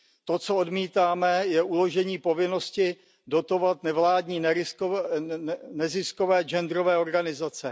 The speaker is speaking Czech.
To, co odmítáme, je uložení povinnosti dotovat nevládní neziskové genderové organizace.